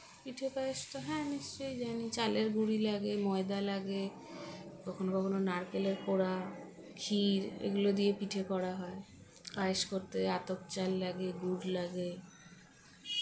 পিঠে পায়েসটা হ্যাঁ নিশ্চয়ই জানি চালের গুড়ি লাগে ময়দা লাগে কখনো কখনো নারকেলের কোরা ক্ষীর এগুলো দিয়ে পিঠে করা হয় পায়েস করতে আতপ চাল লাগে গুড় লাগে